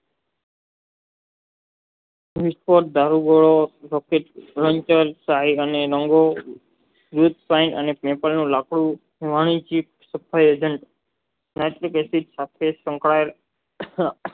નિષ્ફળ અને તેતરનું લાકડું વાણીચિત થયું તેમ રાસ્ટપેશીક